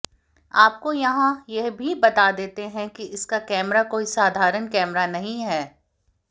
आपको यहाँ यह भी बता देते हैं कि इसका कैमरा कोई साधारण कैमरा नहीं है